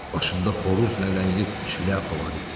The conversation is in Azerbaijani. Başında xoruz lələkli şlyapa var idi.